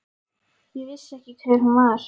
Ég vissi ekki hver hún var.